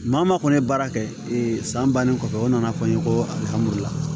Maa o maa kɔni ye baara kɛ ee san bannen kɔfɛ o nana fɔ n ye ko alihamudulila